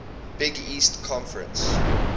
big east conference